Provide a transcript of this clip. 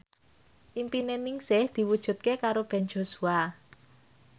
impine Ningsih diwujudke karo Ben Joshua